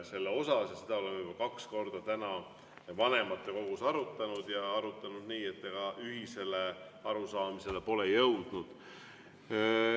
Seda me oleme juba kaks korda täna vanematekogus arutanud, aga ühisele arusaamisele pole jõudnud.